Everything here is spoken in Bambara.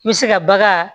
Mise ka bagan